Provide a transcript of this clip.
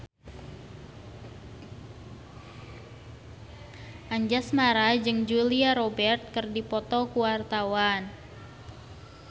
Anjasmara jeung Julia Robert keur dipoto ku wartawan